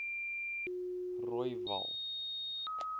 rooiwal